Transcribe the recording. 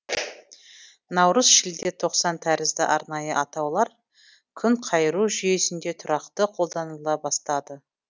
наурыз шілде тоқсан тәрізді арнайы атаулар күнқайыру жүйесінде тұрақты қолданыла бастады